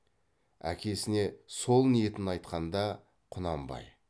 әкесіне сол ниетін айтқанда құнанбай